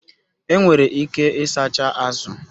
Enwere ike ịsacha azụ